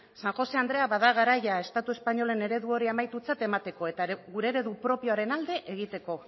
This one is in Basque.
san josé andrea bada garaia estatu espainoleko eredu hori amaitutzat emateko eta gure eredu propioaren alde egiteko